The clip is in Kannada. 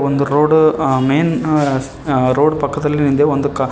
ಒಂದು ರೋಡ್ ಅ ಮೇನ್ ಅ ಅ ರೋಡ್ ಪಕ್ಕದಲ್ಲಿಂದೆ ಒಂದ್ ಕಾ--